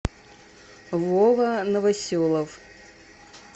вова новоселов